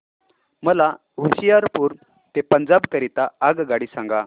मला होशियारपुर ते पंजाब करीता आगगाडी सांगा